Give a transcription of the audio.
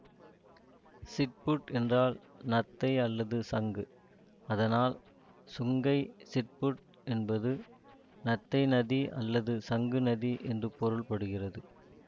சிப்புட் என்றால் நத்தை அல்லது சங்கு அதனால் சுங்கை சிப்புட் என்பது நத்தை நதி அல்லது சங்கு நதி என்று பொருள் படுகிறது